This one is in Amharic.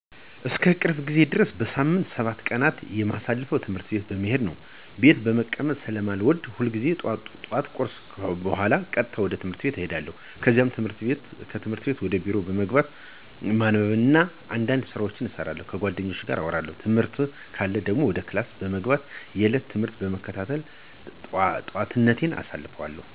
እስከ ቅርብ ጊዜ ድረስ በሳምንት ሰባቱን ቀናት የማሳልፈው ትምህርት ቤት በመሄድ ነው። ቤት መቀመጥ ስለማልወድ ሁልጊዜም ጠዋት ከቁርስ በኋላ ቀጥታ ወደ ትምህርት ቤት እሄዳለሁ። ከዛም ትምህርት ከሌለ ወደ ቢሮ በመግባት ማንበብ እና አንዳንድ ስራዎችን እሰራለሁ፣ ከጓደኞቼ ጋር አወራለሁ። ትምህርት ካለ ደግሞ ወደ ክፍል በመግባት የዕለቱን ትምህርት በመከታተል ጠዋቴን አሳልፋለሁ።